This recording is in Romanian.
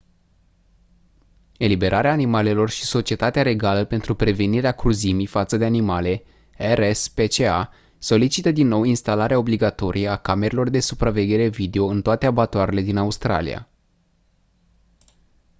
eliberarea animalelor și societatea regală pentru prevenirea cruzimii față de animale rspca solicită din nou instalarea obligatorie a camerelor de supraveghere video în toate abatoarele din australia